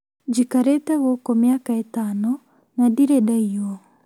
Njikarĩte gũkũ mĩaka ĩtano na ndirĩ ndaiywo